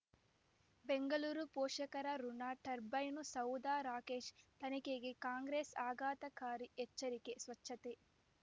ಬೆಂಗಳೂರು ಪೋಷಕರಋಣ ಟರ್ಬೈನು ಸೌಧ ರಾಕೇಶ್ ತನಿಖೆಗೆ ಕಾಂಗ್ರೆಸ್ ಆಘಾತಕಾರಿ ಎಚ್ಚರಿಕೆ ಸ್ವಚ್ಛತೆ